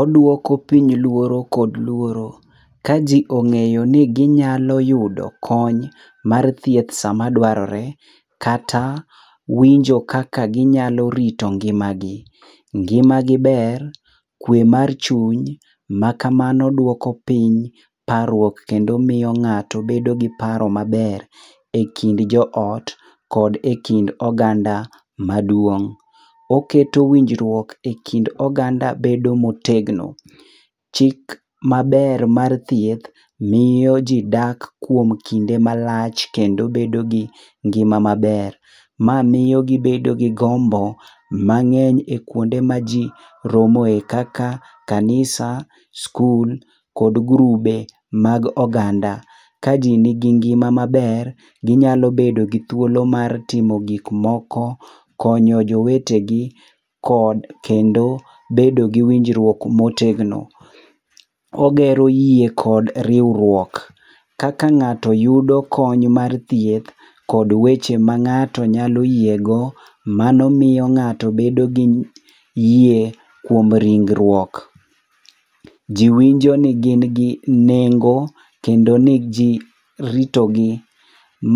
Odwoko piny luoro kod luoro. Ka ji ong'eyo ni ginyalo yudo kony mar thieth sama dwarore, kata winjo kaka ginyalo rito ngimagi. Ngimagi ber, kwe mar chuny makamano dwoko piny parruok kendo miyo ng'ato bedo gi paro maber e kind joot kod e kind oganda maduong'.Oketo winjruok e kind oganda bedo motegno. Chik maber mar thieth miyo ji dak kuom kinde malach kendo bedo gi ngima maber. Ma miyo gibedo gi gombo mang'eny e kwonde ma ji romo e kaka kanisa, skul kod grube mag oganda. Ka ji nigi ngima maber, ginyalo bedo gi thuolo mar timo gikmoko ,konyo jowetegi kendo bedo gi winjruok motegno. Ogero yie kod riwruok. Kaka ng'ato yudo kony mar thieth kod weche ma nga'to nyalo yie go, mano miyo ng'ato bedo gi yie kuom ringruok. Ji winjo ni gin gi nengo kendo ni ji rito gi.